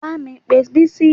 Bá mi pé Bisi